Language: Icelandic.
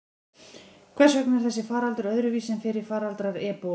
Hvers vegna er þessi faraldur öðruvísi en fyrri faraldrar ebólu?